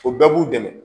O bɛɛ b'u dɛmɛ